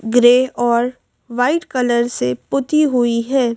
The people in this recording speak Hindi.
ग्रे और व्हाइट कलर से पूती हुई है।